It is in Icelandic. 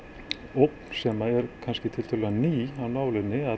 ógn sem er kannski tiltölulega ný af nálinni